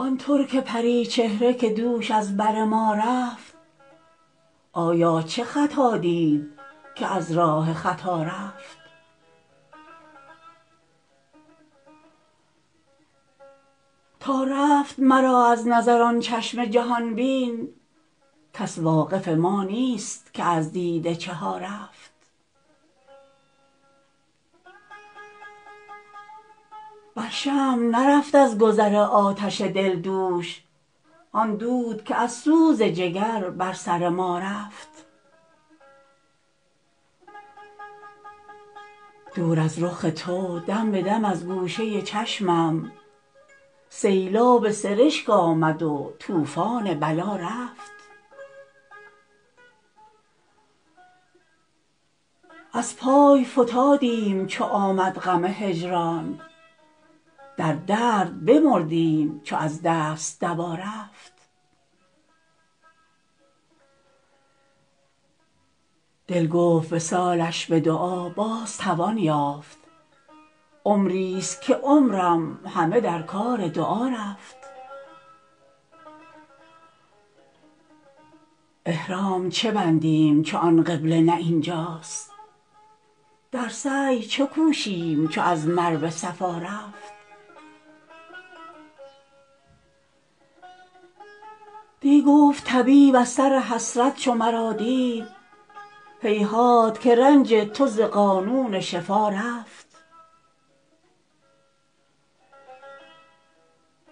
آن ترک پری چهره که دوش از بر ما رفت آیا چه خطا دید که از راه خطا رفت تا رفت مرا از نظر آن چشم جهان بین کس واقف ما نیست که از دیده چه ها رفت بر شمع نرفت از گذر آتش دل دوش آن دود که از سوز جگر بر سر ما رفت دور از رخ تو دم به دم از گوشه چشمم سیلاب سرشک آمد و طوفان بلا رفت از پای فتادیم چو آمد غم هجران در درد بمردیم چو از دست دوا رفت دل گفت وصالش به دعا باز توان یافت عمریست که عمرم همه در کار دعا رفت احرام چه بندیم چو آن قبله نه این جاست در سعی چه کوشیم چو از مروه صفا رفت دی گفت طبیب از سر حسرت چو مرا دید هیهات که رنج تو ز قانون شفا رفت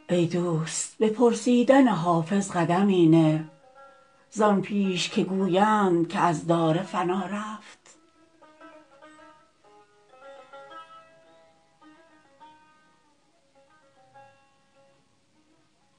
ای دوست به پرسیدن حافظ قدمی نه زان پیش که گویند که از دار فنا رفت